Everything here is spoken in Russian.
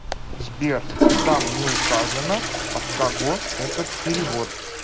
сбер там не указано от кого этот перевод